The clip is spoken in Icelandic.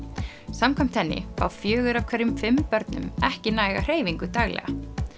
samkvæmt henni fá fjögur af hverjum fimm börnum ekki næga hreyfingu daglega